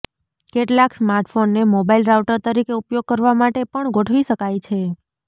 કેટલાક સ્માર્ટફોનને mobile router તરીકે ઉપયોગ કરવા માટે પણ ગોઠવી શકાય છે